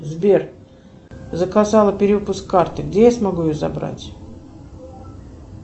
сбер заказала перевыпуск карты где я смогу ее забрать